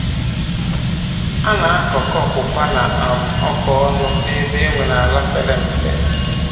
A na-akọ kọ ọpụpa na um oka ọnụ ọnụ n'ebe e nwere ala pere mpe.